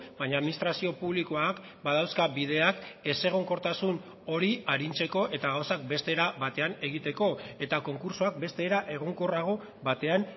baina administrazio publikoak badauzka bideak ezegonkortasun hori arintzeko eta gauzak beste era batean egiteko eta konkurtsoak beste era egonkorrago batean